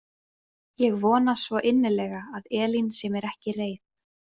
Ég vona svo innilega að Elín sé mér ekki reið.